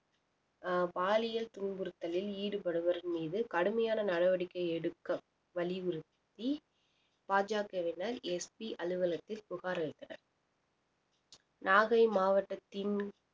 அஹ் பாலியல் துன்புறுத்தலில் ஈடுபடுவோர் மீது கடுமையான நடவடிக்கை எடுக்க வலியுறுத்தி பாஜகவினர் எஸ் பி அலுவலகத்தில் புகார் அளித்தனர் நாகை மாவட்டத்தின்